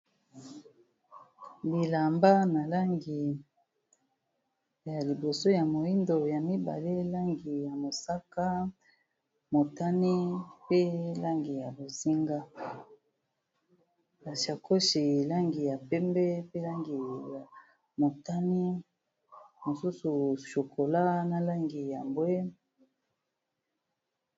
Bilamba na langi ya liboso ya moyindo, ya mibale langi ya mosaka, motane pe langi ya bonzinga , sakoche langi ya pembe pe langi ya motane, mosusu chokola na langi ya mbwe .